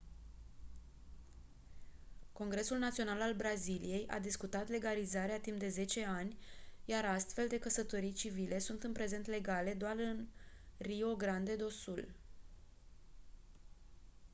congresul național al braziliei a discutat legalizarea timp de 10 ani iar astfel de căsătorii civile sunt în prezent legale doar în rio grande do sul